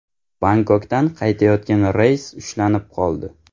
Bangkokdan qaytayotgan reys ushlanib qoldi.